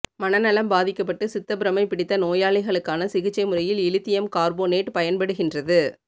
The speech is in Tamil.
மனநலம் பாதிக்கப்பட்டு சித்தபிரமை பிடித்த நோயாளிகளுக்கான சிகிச்சை முறையில் இலித்தியம் கார்போனேட்டு பயன்படுகின்றது